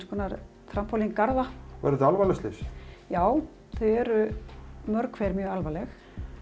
konar tramólíngarða eru þetta alvarleg slys já þau eru mörg hver mjög alvarleg